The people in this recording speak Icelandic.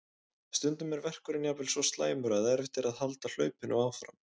Stundum er verkurinn jafnvel svo slæmur að erfitt er að halda hlaupinu áfram.